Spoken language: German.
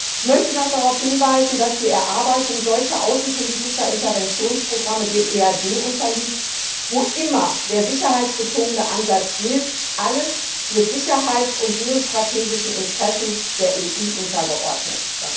Ich möchte noch darauf hinweisen, dass die Erarbeitung solcher außenpolitischer Interventionsprogramme dem EAD unterliegt, wo immer der sicherheitsbezogene Ansatz gilt Alles wird Sicherheits und geostrategischen Interessen der EU untergeordnet.